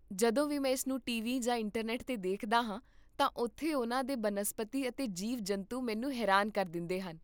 ਜਦੋਂ ਵੀ ਮੈਂ ਇਸ ਨੂੰ ਟੀਵੀ ਜਾਂ ਇੰਟਰਨੈਟ 'ਤੇ ਦੇਖਦਾ ਹਾਂ ਤਾਂ ਉਥੇ ਉਨ੍ਹਾਂ ਦੇ ਬਨਸਪਤੀ ਅਤੇ ਜੀਵ ਜੰਤੂ ਮੈਨੂੰ ਹੈਰਾਨ ਕਰ ਦਿੰਦੇ ਹਨ